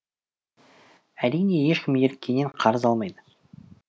әрине ешкім еріккеннен қарыз алмайды